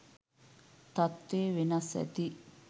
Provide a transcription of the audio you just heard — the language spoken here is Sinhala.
තත්වේ වෙනස් ඇති.